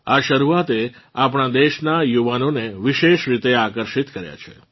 આ શરૂઆતે આપણાં દેશનાં યુવાનોને વિશેષ રીતે આકર્ષિત કર્યાં છે